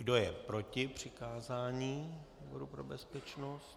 Kdo je proti přikázání výboru pro bezpečnost?